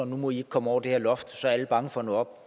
nu må de ikke kommer over det her loft og så er alle bange for at nå